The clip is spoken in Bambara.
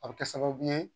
A bɛ kɛ sababu ye